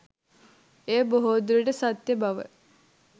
එය බොහෝ දුරට සත්‍ය බව